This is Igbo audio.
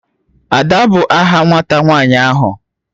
Ada bu aha nwata nwanyi